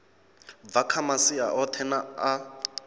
bva kha masia oṱhe a